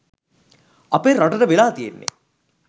අපේ රටට වෙලා තියෙන්නේ